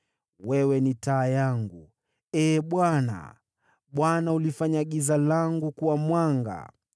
Wewe ni taa yangu, Ee Bwana . Bwana hulifanya giza langu kuwa mwanga.